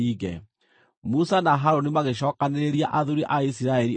Musa na Harũni magĩcookanĩrĩria athuuri a Isiraeli othe,